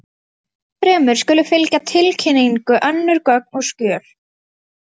Ennfremur skulu fylgja tilkynningu önnur gögn og skjöl.